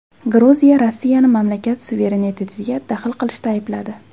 Gruziya Rossiyani mamlakat suverenitetiga daxl qilishda aybladi.